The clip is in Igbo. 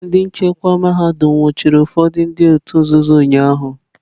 Ndị nchekwa mahadum nwụchiri ụfọdụ ndị òtù nzuzo ụnyahụ.